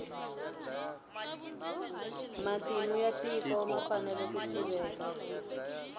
matimu ya tiko ma fanele ku tiveka